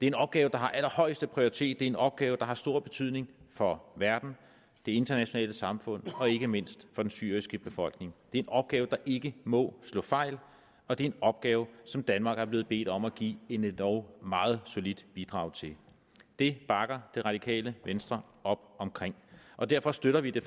en opgave der har allerhøjeste prioritet det er en opgave der har stor betydning for verden det internationale samfund og ikke mindst for den syriske befolkning det er en opgave der ikke må slå fejl og det en opgave som danmark er blevet bedt om at give et endog meget solidt bidrag til det bakker det radikale venstre op om og derfor støtter vi det